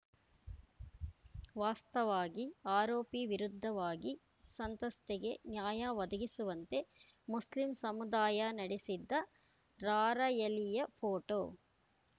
ವಾಸ್ತವಾಗಿ ಆರೋಪಿ ವಿರುದ್ಧ ವಾಗಿ ಸಂತಸ್ತೆಗೆ ನ್ಯಾಯ ಒದಗಿಸುವಂತೆ ಮುಸ್ಲಿಂ ಸಮುದಾಯ ನಡೆಸಿದ್ದ ರಾರ‍ಯಲಿಯ ಫೋಟೋ